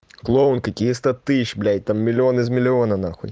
клоун какие сто тысяч блять там миллион из миллиона нахуй